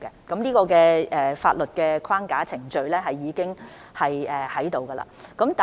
這方面的法律框架及程序已經設立。